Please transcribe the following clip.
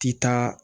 Ti taa